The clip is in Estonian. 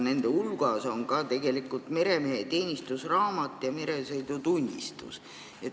Nende hulgas on ka meremehe teenistusraamat ja meresõidutunnistus.